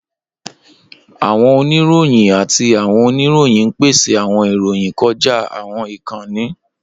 Awọn onirohin ati awọn oniroyin n pese awọn iroyin kọja awọn ikanni.